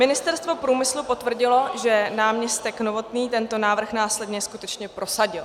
Ministerstvo průmyslu potvrdilo, že náměstek Novotný tento návrh následně skutečně prosadil.